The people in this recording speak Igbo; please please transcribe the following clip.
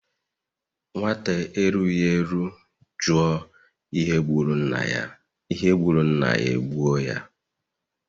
Nwata erughi eru juò ihe gburu nnaya, ihe gburu nnaya egbuò ya.